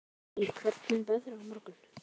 Marý, hvernig er veðrið á morgun?